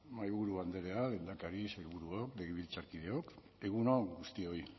mahaiburu andrea lehendakari sailburuok legebiltzarkideok egun on guztioi